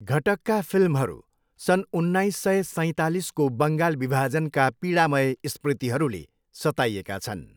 घटकका फिल्महरू सन् उन्नाइस सौ सैतालिसको बङ्गाल विभाजनका पीढामय स्मृतिहरूले सताइएका छन्।